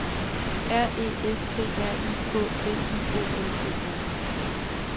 R E S T R I K T I O N E R